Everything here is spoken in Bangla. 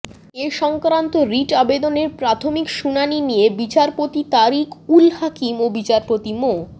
এ সংক্রান্ত রিট আবেদনের প্রাথমিক শুনানি নিয়ে বিচারপতি তারিক উল হাকিম ও বিচারপতি মো